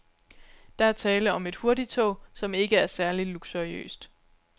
Der er tale om et hurtigtog, som ikke er særlig luksuriøst.